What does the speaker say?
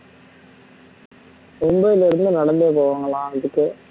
மும்பையில் இருந்து நடந்தே போவாங்களா இதுக்கு